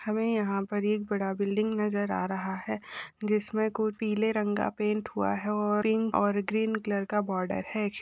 हमे यहा पर एक बड़ा बिल्डिंग नजर आ रहा है जिसमे कोई पीले रंग का पैंट हुआ है और इन और ग्रीन कलर का बार्डर है।